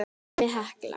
Dæmi: Hekla